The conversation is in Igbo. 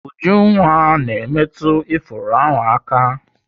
Ujunwa na-emetụ ifuru ahụ aka.